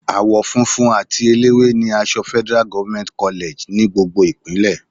Àwọ funfun àti eléwé ni aṣọ Federal government college ní gbogbo Ìpínlẹ̀.